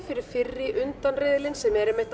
fyrir fyrri undankeppnina sem er